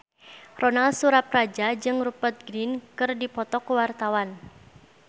Ronal Surapradja jeung Rupert Grin keur dipoto ku wartawan